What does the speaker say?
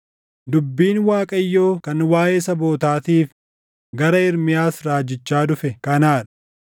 Dubbiin Waaqayyoo kan waaʼee sabootaatiif gara Ermiyaas raajichaa dhufe kanaa dha: